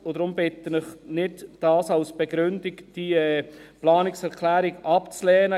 Darum bitte ich, dies nicht als Begründung zu nehmen und diese Planungserklärung abzulehnen.